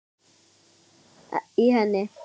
í henni